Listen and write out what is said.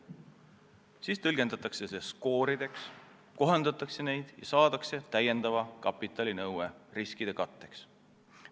Siis tõlgendatakse see skoorideks, kohandatakse neid ja saadakse täiendava kapitali nõue riskide katteks.